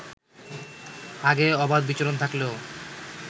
আগে অবাধ বিচরণ থাকলেও